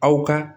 Aw ka